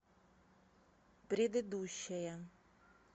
предыдущая